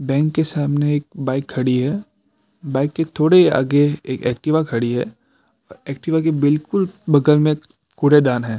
Bank के सामने एक बाइक खड़ी है बाइक के थोड़े ही आगे एक एक्टिवा खड़ी है और एक्टिवा के बिल्कुल बगल में कूड़ेदान है।